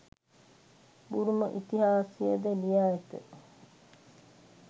බුරුම ඉතිහාසයද ලියා ඇත.